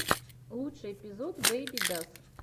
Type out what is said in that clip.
лучший эпизод бэйбидас